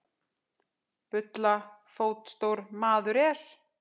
Bulla fótstór maður er.